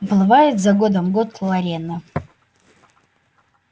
уплывает за годом год лорена